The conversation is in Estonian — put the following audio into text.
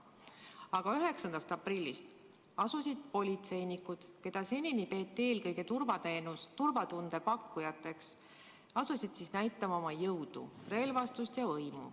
Aga 9. aprillist asusid politseinikud, keda senini peeti eelkõige turvatunde pakkujateks, näitama oma jõudu, relvastust ja võimu.